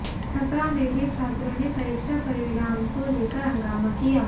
छपरा में भी छात्रों ने परीक्षा परिणाम को लेकर हंगामा किया